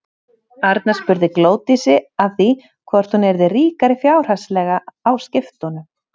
Arnar spurði Glódísi að því hvort hún yrði ríkari fjárhagslega á skiptunum?